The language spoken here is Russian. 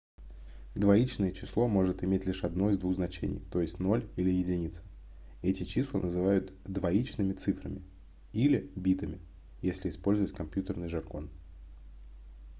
двоичное число может иметь лишь одно из двух значений то есть 0 или 1 эти числа называют двоичными цифрами - или битами если использовать компьютерный жаргон